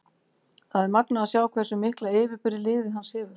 Það er magnað að sjá hversu mikla yfirburði liðið hans hefur.